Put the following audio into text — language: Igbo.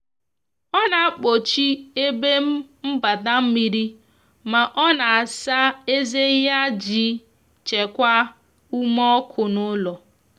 ọ na akpochi ebe mgbata mmiri ma ọ na asa eze yaijii chekwaa ume ọkụ n'ulo